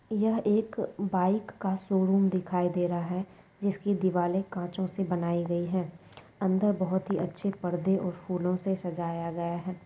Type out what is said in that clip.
यह एक बाइक का शोरूम दिखाई दे रहा है। जिसकी दिवाले कंचों से बनाई गई है अंदर बहुत ही अच्छे पर्दे और फूलों से सजाया गया है।